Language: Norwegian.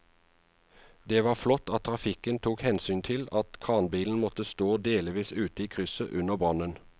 Det var flott at trafikken tok hensyn til at kranbilen måtte stå delvis ute i krysset under brannen.